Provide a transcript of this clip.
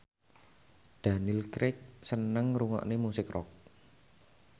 Daniel Craig seneng ngrungokne musik rock